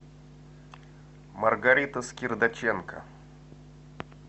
маргарита скирдаченко